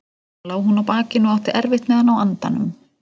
Þarna lá hún á bakinu og átti erfitt með að ná andanum.